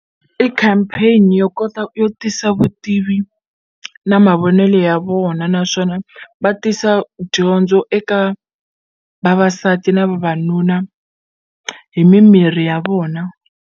I campaign yo kota yo tisa vutivi na mavonelo ya vona naswona va tisa dyondzo eka vavasati na vavanuna hi mimirhi ya vona.